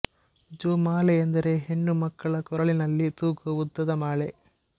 ಜೋಮಾಲೆ ಎಂದರೆ ಹೆಣ್ಣು ಮಕ್ಕಳ ಕೊರಳಿನಲ್ಲಿ ತೂಗುವ ಉದ್ದದ ಮಾಲೆ